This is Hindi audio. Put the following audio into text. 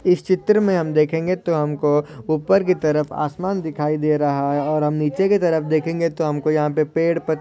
इस चित्र मे हम देखेंगे तो हमको उपर कि तरफ आसमान दिखाई दे रहा है और हम नीचे कि तरफ देखेंगे तो हमको यहा पे पेड़ पत--